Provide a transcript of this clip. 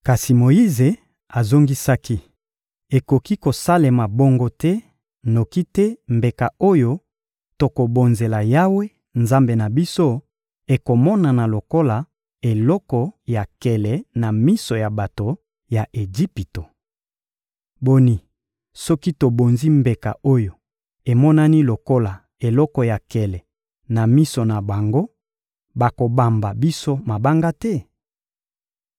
Kasi Moyize azongisaki: — Ekoki kosalema bongo te; noki te mbeka oyo tokobonzela Yawe, Nzambe na biso, ekomonana lokola eloko ya nkele na miso ya bato ya Ejipito. Boni, soki tobonzi mbeka oyo emonani lokola eloko ya nkele na miso na bango, bakobamba biso mabanga te?